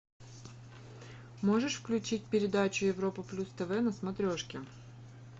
можешь включить передачу европа плюс тв на смотрешки